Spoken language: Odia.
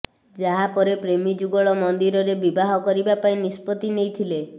ଯାହା ପରେ ପ୍ରେମୀଯୁଗଳ ମନ୍ଦିରରେ ବିବାହ କରିବା ପାଇଁ ନିଷ୍ପତ୍ତିି ନେଇଥିଲେ